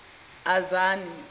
azani